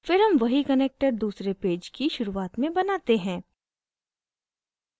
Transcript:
फिर हम वही connector दूसरे पेज की शुरुआत में बनाते हैं